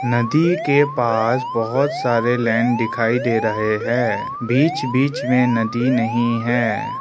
नदी के पास बहोत सारे लैंड दिखाई दे रहे है बीच बीच में नदी नहीं है।